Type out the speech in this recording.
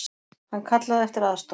Hann kallaði eftir aðstoð.